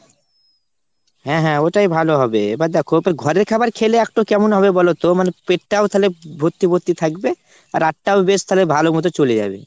হ্যাঁ হ্যাঁ ওইটাই ভালো হবে। এবার দ্যাখো ঘরের খাবার খেলে একটো কেমন হবে বলোতো পেটটাও তালে ভর্তি ভর্তি থাকবে। রাতটাও বেশ তালে ভালোমতো চলে যাবে।